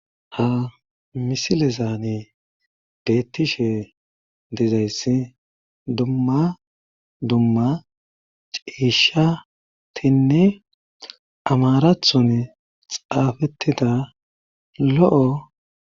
Ha misilezaanii bettishe dezayssi dumma dumma ciishshatinne amarathon xaafettida lo'o